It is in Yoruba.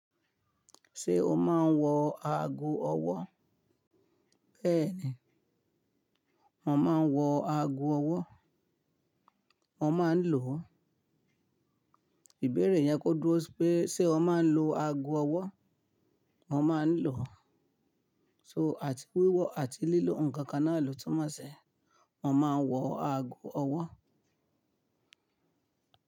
Ṣé o máa ń wọ ago ọwọ́? Bẹ́ẹ̀ni, mo máa ń wọ ago ọwọ́. Mo máa ń lò ó. Ìbéèrè yẹn kó dúró pé ṣe o máa ń lo ago ọwọ́? Mo máa ń lò ó. So àti wíwọ àti lílo ǹkan kan náà ló túmọ̀ sí mo máa ń wọ ago ọwọ́